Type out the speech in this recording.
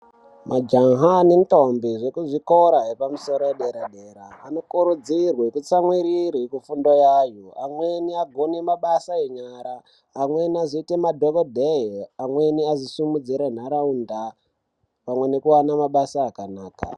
Majaha nendombi zvekuzvikora yepamusoro yedera-dera, anokurudzirwe kutsamwirire kufundo yayo, amweni agone kuone mabasa enyara ,amweni azoite madhokodheye , amweni azosimudzire ntaraunda pamweni nekuwane mabasa akanaka.